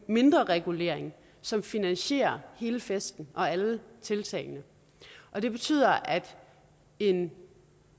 mindreregulering som finansierer hele festen og alle tiltagene og det betyder at en